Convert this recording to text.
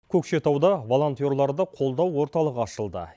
көкшетауда волонтерларды қолдау орталығы ашылды